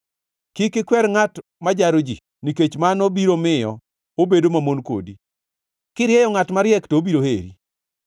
Kik ikwer ngʼat ma jaro ji, nikech mano biro miyo obedo mamon kodi, kirieyo ngʼat mariek, to obiro heri.